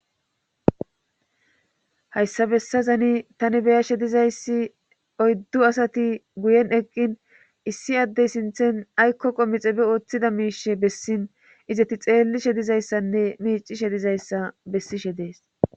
hayssa bessazani tani be7ashe dizayssi oyddu asati guyen eqqin issi addey sinthen aykko qomixebe ooththida miishe bessin izeti xeellishe dizayssanne miiccishe dizayssa bessishe dees.